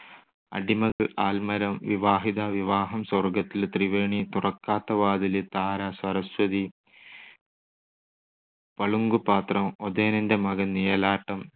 അടിമകൾ, ആൽമരം, വിവാഹിത, വിവാഹം സ്വർഗ്ഗത്തിൽ, ത്രിവേണി, തുറക്കാത്ത വാതിൽ, താര, സരസ്വതി, പളുങ്കുപാത്രം, ഒതേനന്റെ മകൻ, നിഴലാട്ടം,